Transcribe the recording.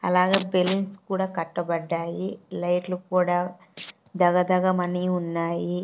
అలాగే బెలూన్స్ కూడా కట్టబడ్డాయి లైట్లు కూడా దగదగమని ఉన్నాయి.